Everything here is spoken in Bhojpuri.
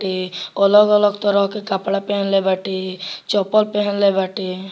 ते अलग-अलग तरह के कपड़ा पहनले बाटे चप्पल पहेनले बाटे।